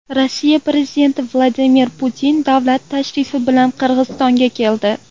Rossiya prezidenti Vladimir Putin davlat tashrifi bilan Qirg‘izistonga keldi.